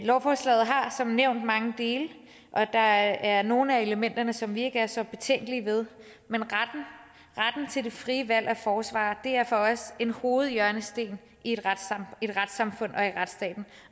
lovforslaget har som nævnt mange dele og der er nogle af elementerne som vi ikke er så betænkelige ved men retten til det frie valg af forsvarer er for os en hovedhjørnesten i et retssamfund og i retsstaten